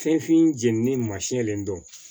Fɛnfin jeninen ma sinalen dɔn